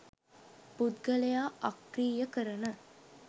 පුද්ගලයා අක්‍රීය කරන